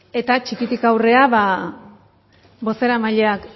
eta txikitik aurrera ba bozeramaileak